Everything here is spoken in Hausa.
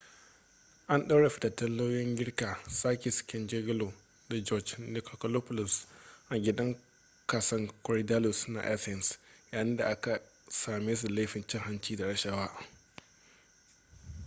an ɗaure fitattun lauyoyin girka sakis kechagioglou da george nikolakopoulos a gidan kason korydallus na athens yayin da aka same su da laifin cin hanci da rashawa